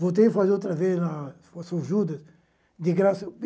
Voltei a fazer outra vez, na judas, de graça.